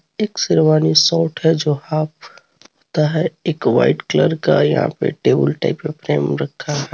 एक शेरवानी सोट हे जो हाफ होता हे एक वाइट कलर का यहाँ पे टेबल टाईप का फ्रेम रखा है.